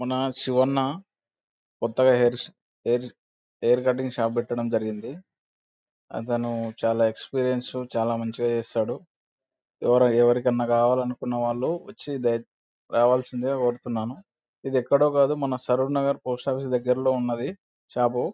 మన శివన్న కొత్తగా hair hair hair cutting shop పెట్టడం జరిగింది. అతను చాలా ఎక్స్పీరియన్స్ చాలా మంచిగా చేస్తాడు. ఎవరు ఎవరికన్నా కావాలనుకునే వాళ్ళు వచ్చి ద రావాల్సిందిగా కోరుతున్నాను. ఇది ఎక్కడో కాదు మన సరివ్ నగర్ పోస్ట్ ఆఫీస్ దగ్గర్లో ఉన్నది షాపు .